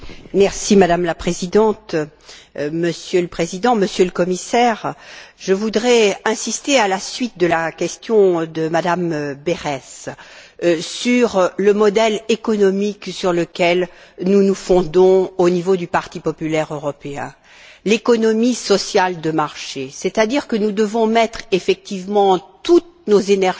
Madame la Présidente, Monsieur le Président, Monsieur le Commissaire, je voudrais, à la suite de la question de Mme Berès, insister sur le modèle économique sur lequel nous nous fondons au Parti populaire européen l'économie sociale de marché, c'est à dire que nous devons mettre effectivement toutes nos énergies